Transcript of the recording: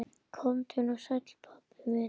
Komdu nú sæll, pabbi minn.